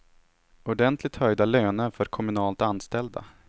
Ordentligt höjda löner för kommunalt anställda.